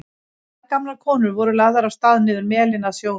Tvær gamlar konur voru lagðar af stað niður melinn að sjónum.